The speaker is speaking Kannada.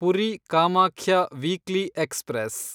Puri Kamakhya weekly express